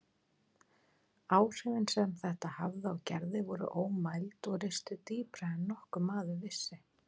Áhrifin sem þetta hafði á Gerði voru ómæld og ristu dýpra en nokkur maður vissi.